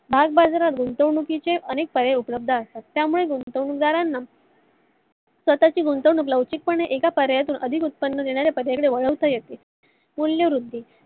भागबजारात गुंतवणूकीचे अनेक पर्याय उपलब्ध असतात. त्यामुळे गुतवणूक दारांना स्वताची गुंतवणूक लवचिकपणे एका पर्यायातून अधिक उत्पन्न मिळवणाऱ्या पर्याया कडे वळवता येते. मूल्य रुधि